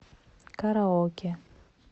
караоке